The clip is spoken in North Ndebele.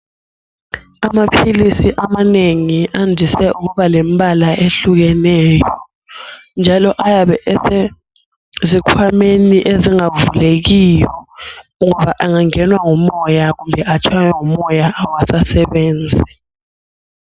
Amaphilisi amanengi andise ukuba lembala ehlukeneyo njalo ayabe asezikhwameni ezingavulekiyo ngoba angangenwa ngumoya kumbe atshaywe ngumoya awasasebenzi.